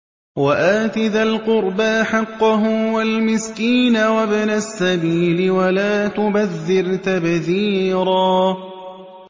وَآتِ ذَا الْقُرْبَىٰ حَقَّهُ وَالْمِسْكِينَ وَابْنَ السَّبِيلِ وَلَا تُبَذِّرْ تَبْذِيرًا